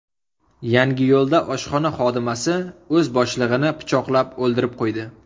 Yangiyo‘lda oshxona xodimasi o‘z boshlig‘ini pichoqlab, o‘ldirib qo‘ydi.